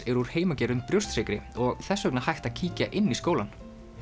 eru úr heimagerðum brjóstsykri og þess vegna hægt að kíkja inn í skólann